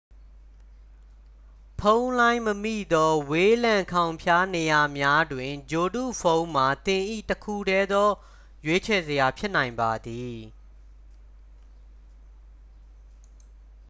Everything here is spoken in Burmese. ဖုန်းလိုင်းမမိသော ဝေးလံခေါင်ဖျားနေရာများတွင် ဂြိုလ်တုဖုန်းမှာ သင်၏ တစ်ခုတည်းသော ရွေးချယ်စရာ ဖြစ်နိုင်ပါသည်